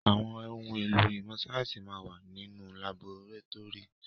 Àwọn ohun èlò ìmọ̀ síáyẹ́nsì máa ń wà nínú laborétórì.